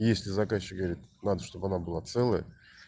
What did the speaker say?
если заказчик говорит надо чтобы она была целая